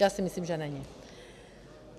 Já si myslím, že není.